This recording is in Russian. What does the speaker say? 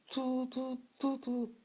ту-ту-ту-ту